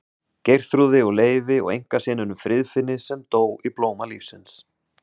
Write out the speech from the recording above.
Geirþrúði og Leifi og einkasyninum Friðfinni sem dó í blóma lífsins.